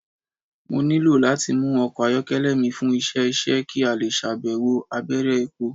Mo nilo lati mu ọkọ ayọkẹlẹ mi fun iṣẹ iṣẹ ki a le ṣayẹwo abẹrẹ epo